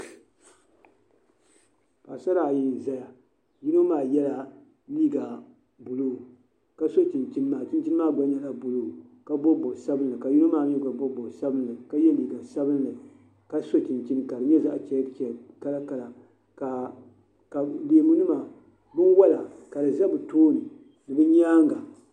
Paɣasara ayi n ʒɛya yino maa yɛla liiga buluu ka so chinchini maa chinchini maa gba nyɛla buluu ka bob bob sabinli ka yino maa mii gba bob bob sabinli ka yɛ liiga sabinli ka so chinchini ka di nyɛ zaɣ chɛk chɛk kala kala ka leemu nima ka di ʒɛ bi tooni binwola